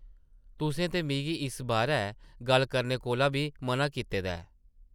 तुसें ते मिगी इस बारै गल्ल करने कोला बी मʼना कीते दा ऐ ।